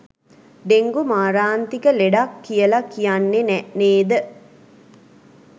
Dengue මාරාන්තික ලෙඩක් කියල කියන්නේ නැ නේද?